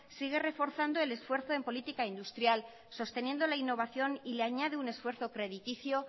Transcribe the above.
sigue reforzando el esfuerzo en política industrial sosteniendo la innovación y le añade un esfuerzo crediticio